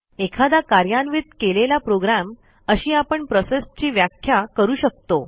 एखादा कार्यान्वित केलेला प्रोग्रॅम अशी आपण प्रोसेसची व्याख्या करू शकतो